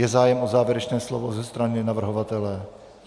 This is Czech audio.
Je zájem o závěrečné slovo ze strany navrhovatele?